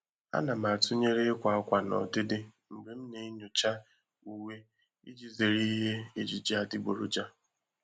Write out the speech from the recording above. A na m atụnyere ịkwa akwa na ọdịdị mgbe m na-enyocha uwe iji zere ihe ejiji adịgboroja.